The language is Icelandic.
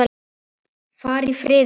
Far í friði, kæri vinur.